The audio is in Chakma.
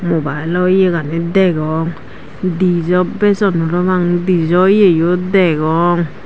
mibilo yegani degong dijo bejon parapang dijo yeyo degong.